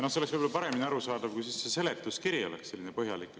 Võib-olla oleks paremini arusaadav, kui see seletuskiri oleks põhjalik.